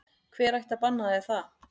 Hver ætti að banna þér það?